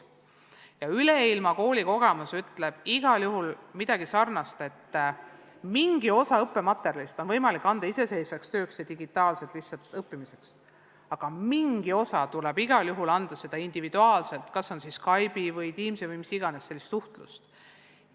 Ja see kogemus ütleb midagi sarnast, et mingi osa õppematerjalist on võimalik anda iseseisvaks tööks ja digitaalselt lihtsalt õppimiseks, aga mingi osa tuleb igal juhul anda individuaalselt, kas Skype'i või Teamsi või mis iganes muu seesuguse suhtlusvahendi teel.